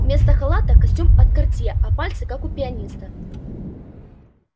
вместо халата костюм от картье а пальцы как у пианиста